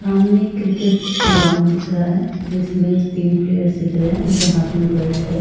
सामने cricket ground दिख रहा है जिसमें तीन प्लयेर्स दिख रहे हैं। उनके हाथ में बैट है।